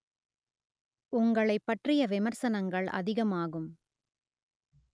உங்களைப் பற்றிய விமர்சனங்கள் அதிகமாகும்